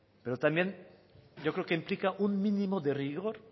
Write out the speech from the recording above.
pero también yo creo que implica un mínimo de rigor